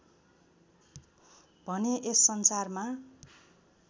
भने यस संसारमा